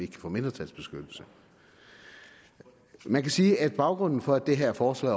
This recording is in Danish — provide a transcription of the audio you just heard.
kan få mindretalsbeskyttelse man kan sige at baggrunden for at det her forslag